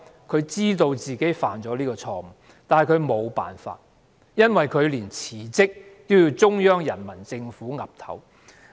她知道自己犯下這錯誤，但她沒有辦法，因為連辭職也要得到中央人民政府批准。